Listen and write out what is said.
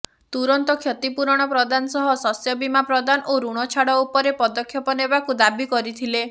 ତୁରନ୍ତ କ୍ଷତିପୂରଣ ପ୍ରଦାନ ସହ ଶସ୍ୟବୀମା ପ୍ରଦାନ ଓ ଋଣଛାଡ ଉପରେ ପଦକ୍ଷେପ ନେବାକୁ ଦାବି କରିଥିଲେ